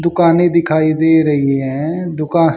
दुकानें दिखाई दे रही हैं दुका--